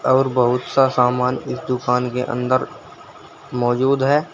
और बहुत सा सामान इस दुकान के अंदर मौजूद है।